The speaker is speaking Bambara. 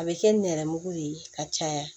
A bɛ kɛ nɛrɛmugu de ye ka caya